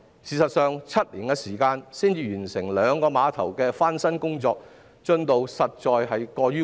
事實上，要7年時間才完成兩個碼頭的翻新工作，進度實在太慢。